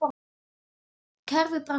Kerfið brást þeim.